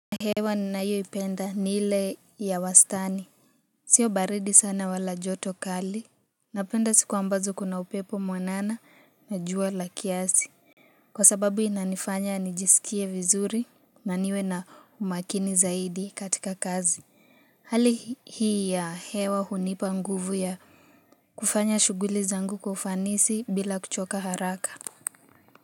Hewa ninayo ipenda ni ile ya wastani Sio baridi sana wala joto kali Napenda siku ambazo kuna upepo mwanana na jua la kiasi Kwa sababu inanifanya nijisikie vizuri na niwe na umakini zaidi katika kazi Hali hii ya hewa hunipa nguvu ya kufanya shughuli zangu kwa ufanisi bila kuchoka haraka.